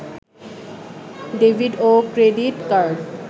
debit ও credit card